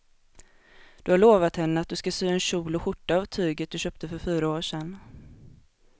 Du har lovat henne att du ska sy en kjol och skjorta av tyget du köpte för fyra år sedan.